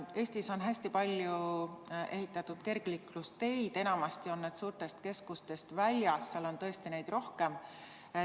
Eestis on hästi palju ehitatud kergliiklusteid, enamasti on need suurtest keskustest väljas, seal on tõesti neid rohkem.